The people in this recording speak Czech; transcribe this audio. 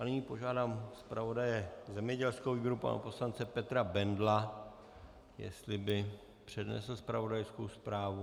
A nyní požádám zpravodaje zemědělského výboru pana poslance Petra Bendla, jestli by přednesl zpravodajskou zprávu.